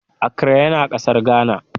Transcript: Accra yana kasar Ghana.